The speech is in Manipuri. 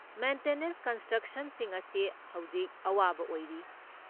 ꯃꯦꯟꯇꯦꯅꯦꯟꯁ ꯀꯟꯇ꯭ꯔꯦꯛꯇꯔꯁꯤꯡ ꯑꯁꯤ ꯍꯧꯖꯤꯛ ꯑꯋꯥꯕ ꯑꯣꯏꯔꯤ꯫